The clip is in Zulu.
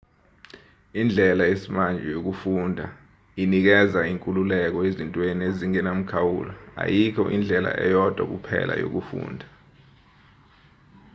indlela yesimanje yokufunda inikeza inkululeko ezintweni ezingenamkhawulo ayikho indlela eyodwa kuphela yokufunda